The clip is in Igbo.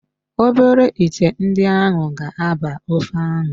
Obere íté ndị ahụ ga-aba ofe ahụ